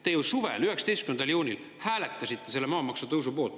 Te ju suvel 19. juunil hääletasite maamaksu tõusu poolt.